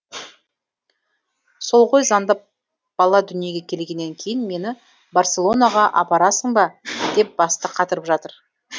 сол ғой звондап бала дүниеге келгеннен кейін мені барселонаға апарасың ба деп басты қатырып жатыр